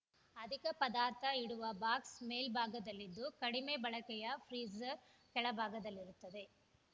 ಅಧಿಕ ಪದಾರ್ಥ ಇಡುವ ಬಾಕ್ಸ್‌ ಮೇಲ್ಭಾಗದಲ್ಲಿದ್ದು ಕಡಿಮೆ ಬಳಕೆಯ ಫ್ರೀಝರ್‌ ಕೆಳಭಾಗದಲ್ಲಿರುತ್ತದೆ